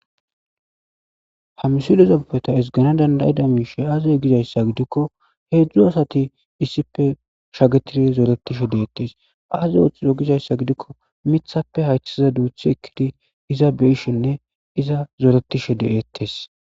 ha misilape ezgans beta esgana dandayida miishe aaze gizayssa gidikko heedzdzu asati issife shagetiri zooletishe deettes aaze ooththido gizayssa gidikko mithappe haythiza duuthi ekkidi iza beyishenne iza zooretishe de eettes